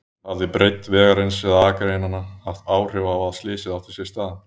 Hafði breidd vegarins eða akreinanna áhrif á að slysið átti sér stað?